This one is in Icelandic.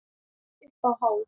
Upp á hól